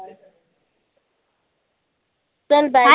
चाल bye